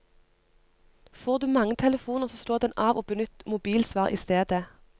Får du mange telefoner så slå den av og benytt mobilsvar i stedet.